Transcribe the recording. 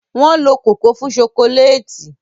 Wọ́n lo kòkó fún ṣokoléètì.